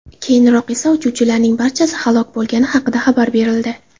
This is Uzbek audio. Keyinroq esa uchuvchilarning barchasi halok bo‘lgani haqida xabar berildi.